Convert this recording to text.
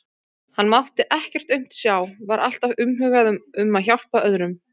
Hann mátti ekkert aumt sjá, var alltaf umhugað um að hjálpa öðrum.